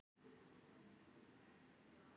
Ég var mjög utan við mig.